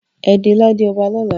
E de lade ọba lọla!